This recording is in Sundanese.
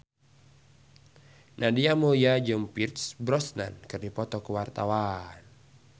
Nadia Mulya jeung Pierce Brosnan keur dipoto ku wartawan